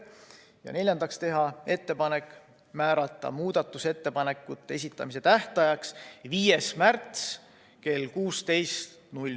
Ja neljandaks, teha ettepanek määrata muudatusettepanekute esitamise tähtajaks 5. märts kell 16.